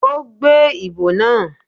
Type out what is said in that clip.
Ó gbé ìbo náà